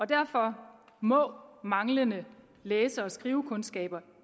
derfor må manglende læse og skrivekundskaber